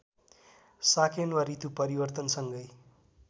साकेन्वा ऋतु परिवर्तनसँगै